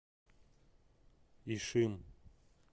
ишим